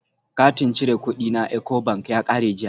Katin cire kudi na Ecobank ya kare jiya